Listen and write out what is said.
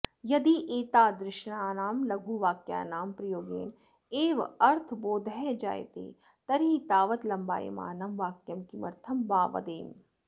यदि एतादृशानां लघुवाक्यानां प्रयोगेण एव अर्थबोधः जायतॆ तर्हि तावत् लम्बायमानं वाक्यं किमर्थं वा वदेम